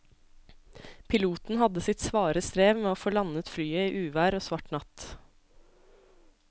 Piloten hadde sitt svare strev med å få landet flyet i uvær og svart natt.